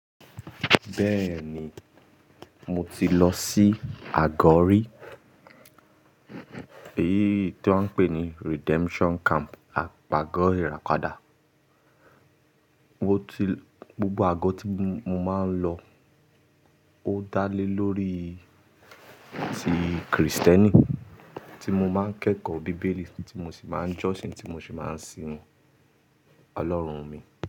Bẹ́ẹ̀ ni, mo ti lọ sí àgọ́ rí, èyí tó ń pè ní Redemption Camp, àpagọ́ ìrápadà. Gbogbo àgọ́ tí mo máa ń lọ ó dá lé lórí ti Krìstẹ́nì, tí mo máa ń kẹ́kọ̀ọ́ Bíbélì, tí mo sì máa ń jọ́sìn, tí mo sì máa ń sin Ọlọ́run mi.